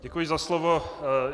Děkuji za slovo.